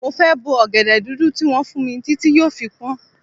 Mo fẹ́ bo ọ̀gẹ̀dẹ̀ dúdú tí wọ́n fún mi títí tí yóò fi pọ́n.